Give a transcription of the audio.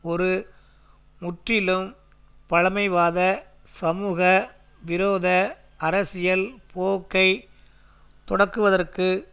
ஒரு முற்றிலும் பழைமைவாத சமூக விரோத அரசியல் போக்கை தொடக்குவதற்கு